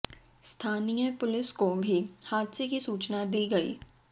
स्थानीय पुलिस को भी हादसे की सूचना दी गई